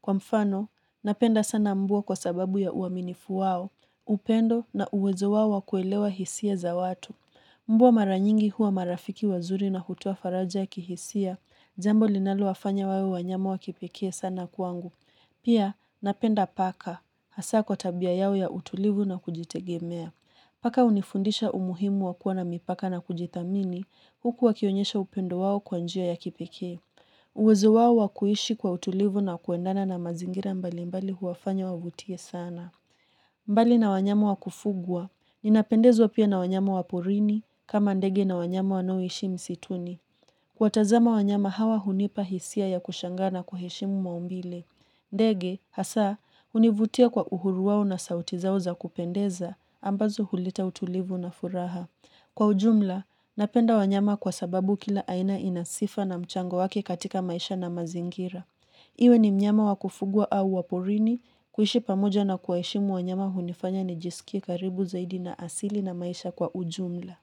Kwa mfano, napenda sana mbwa kwa sababu ya uaminifu wao, upendo na uwezo wao wa kuelewa hisia za watu. Mbwa maranyingi huwa marafiki wazuri na hutoa faraja ya kihisia, jambo linalo wafanya wawe wanyama wa kipekee sana kwangu. Pia, napenda paka, hasaa kwa tabia yao ya utulivu na kujitegemea. Paka hunifundisha umuhimu wa kuwa na mipaka na kujithamini, huku wakionyesha upendo wao kwa njia ya kipekee. Uwezo wao wa kuishi kwa utulivu na kuendana na mazingira mbali mbali huwafanya wavutie sana mbali na wanyama wa kufugwa, ninapendezwa pia na wanyama wa porini, kama ndege na wanyama wanoishi msituni. Kuwatazama wanyama hawa hunipa hisia ya kushangaa na kuheshimu maumbile. Ndege, hasaa, hunivutia kwa uhuru wao na sauti zao za kupendeza, ambazo huleta utulivu na furaha. Kwa ujumla, napenda wanyama kwa sababu kila aina ina sifa na mchango wake katika maisha na mazingira. Iwe ni mnyama wa kufugwa au wa porini kuishi pamoja na kuwaheshimu wanyama hunifanya nijiskie karibu zaidi na asili na maisha kwa ujumla.